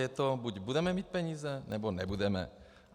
Je to - buď budeme mít peníze, nebo nebudeme.